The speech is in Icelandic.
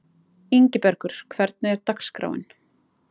Ingibergur, hvernig er dagskráin?